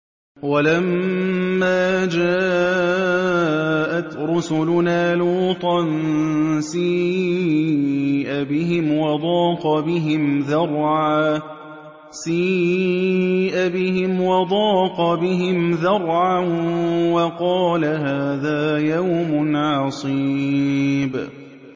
وَلَمَّا جَاءَتْ رُسُلُنَا لُوطًا سِيءَ بِهِمْ وَضَاقَ بِهِمْ ذَرْعًا وَقَالَ هَٰذَا يَوْمٌ عَصِيبٌ